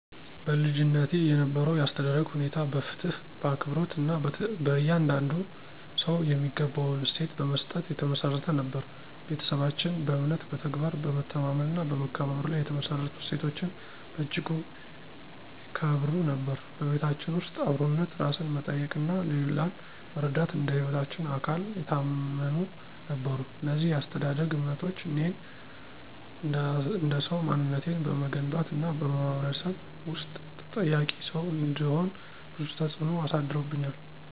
በልጅነቴ የነበረው የአስተዳደግ ሁኔታ በፍትሕ በአክብሮት እና በየእያንዳንዱ ሰው የሚገባውን እሴት በመስጠት የተመሠረተ ነበር። ቤተሰባችን በእምነት በተግባር በመተማመን እና በመከባበር ላይ የተመሰረቱ እሴቶችን በእጅጉ ይከብሩ ነበር። በቤታችን ውስጥ አብሮነት ራስን መጠየቅ እና ሌላን መረዳት እንደ ህይወታችን አካል የታመኑ ነበሩ። እነዚህ የአስተዳደግ እምነቶች እኔን እንደሰው ማንነቴን በመገንባት እና በማህበረሰብ ውስጥ ተጠያቂ ሰው እንድሆን ብዙ ተፅእኖ አሳድሮብኛል።